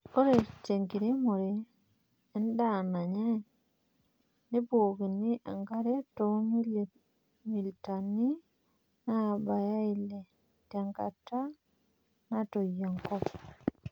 Ore tenkiremore endaa nanyay nebukokini enkare too milimitani naabaya ile tenkata natoyio enkop.